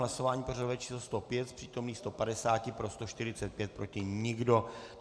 Hlasování pořadové číslo 105, z přítomných 150 pro 145, proti nikdo.